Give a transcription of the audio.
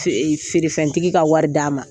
Fe ferefɛntigi ka wari d'a ma